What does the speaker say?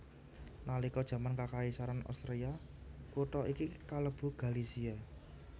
Nalika jaman Kakaisaran Austria kutha iki kalebu Galizia